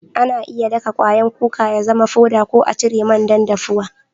Ana iya daka kwayan kuka ya zama foda ko a cire man dan daffuwa.